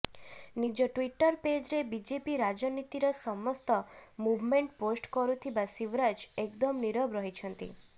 ନିଜ ଟ୍ୱିଟର ପେଜରେ ବିଜେପି ରାଜନୀତିର ସମସ୍ତ ମୁଭମେଣ୍ଟ୍ ପୋଷ୍ଟ କରୁଥିବା ଶିବରାଜ ଏକଦମ ନୀରବ ରହିଛନ୍ତି